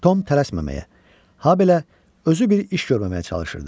Tom tələsməməyə, habelə özü bir iş görməməyə çalışırdı.